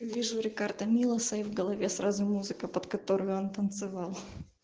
вижу рикардо милоса и в голове сразу музыка под которую он танцевал